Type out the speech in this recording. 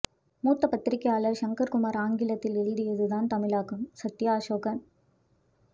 மூத்த பத்திரிக்கையாளர் ஷங்கர் குமார் ஆங்கிலத்தில் எழுதியதன் தமிழாக்கம் சத்யா அசோகன்